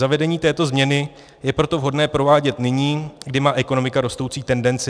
Zavedení této změny je proto vhodné provádět nyní, kdy má ekonomika rostoucí tendenci.